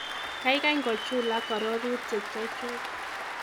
Kaikai ngochulak arorutiek chechu.